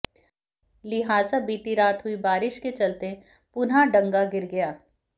लिहाजा बीती रात हुई बारिश के चलते पुनः डंगा गिर गया